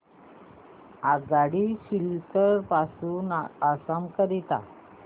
आगगाडी सिलचर पासून आसाम करीता